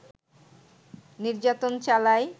নির্যাতন চালায়